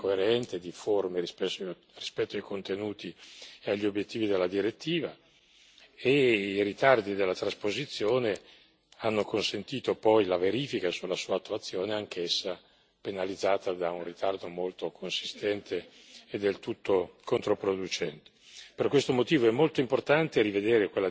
Il recepimento è stato lento, spesso incoerente, difforme rispetto ai contenuti e agli obiettivi della direttiva, e i ritardi nel recepimento hanno consentito poi la verifica della sua attuazione, anch'essa penalizzata da un ritardo molto consistente e del tutto controproducente.